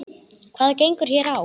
Hvað gengur hér á?